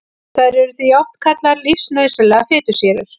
Þær eru því oft kallaðar lífsnauðsynlegar fitusýrur.